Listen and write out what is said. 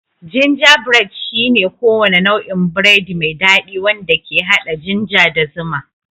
Gingerbread shine kowane nau'in biredi mai dadi wanda ke hada ginger da zuma.